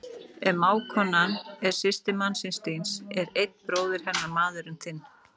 Ef mágkonan er systir mannsins þíns er einn bróðir hennar maðurinn þinn.